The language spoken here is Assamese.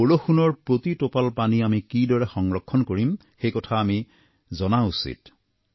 বৰষুণৰ প্ৰতি টোপাল পানী আমি কিদৰে সংৰক্ষণ কৰিম এই কথা আমি জনা উচিত